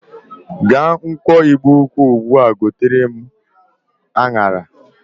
Gaa nkwọ Igbo-ukwu ugbu a gotere m aṅara!